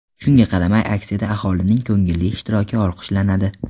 Shunga qaramay, aksiyada aholining ko‘ngilli ishtiroki olqishlanadi.